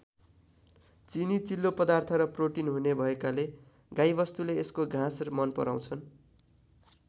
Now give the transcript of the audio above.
चिनी चिल्लो पदार्थ र प्रोटिन हुने भएकाले गाईवस्तुले यसको घाँस मन पराउँछन्।